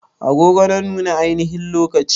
Agogo na nuna ainihin lokaci